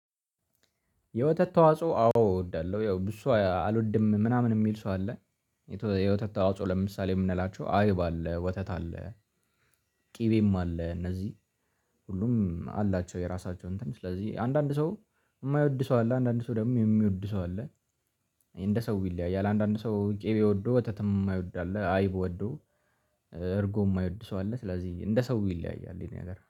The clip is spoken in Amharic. የወተት ተዋጽኦ አዎ እወዳለሁ ያው ብዙ አልወድም ምናምን የሚል ሰው አለ። የህይወት ተዋጽኦ ለምሳሌ የምንላቸው አይብ አለ ወተት አለ። ቅቤም አለ እነዚህ ሁሉም አላቸው። የራሳቸው እንትን ስለዚህ አንዳንድ ሰው የማይወድ ሰው አለ አንዳንድ ሰው ደግሞ የሚወድ ሰው አለ። እንደ ሰው ይለያያል አንዳንድ ሰው ቅቤ ወዶ ወተትም የማይወድ አለ። አይብ ወዶ እርጎም የማይወድ ሰው አለ። ስለዚህ እንደ ሰው ይለያያል። ይሄ ነገር